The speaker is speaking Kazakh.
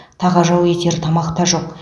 тағажау етер тамақ та жоқ